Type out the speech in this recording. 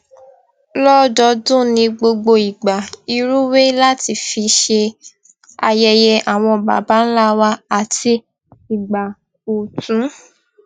lódọọdún ní gbogbo ìgbà ìrúwé láti fi ṣe ayẹyẹ àwọn baba ńlá wa àti ìgbà ọtun